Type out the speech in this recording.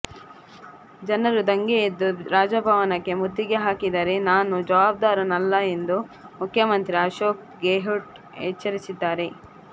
ಜನರು ದಂಗೆ ಎದ್ದು ರಾಜಭವನಕ್ಕೆ ಮುತ್ತಿಗೆಹಾಕಿದರೆ ನಾನು ಜವಾಬ್ದಾರನಲ್ಲ ಎಂದು ಮುಖ್ಯಮಂತ್ರಿ ಅಶೋಕ್ ಗೆಹ್ಲೋಟ್ ಎಚ್ಚರಿಸಿದ್ದಾರೆ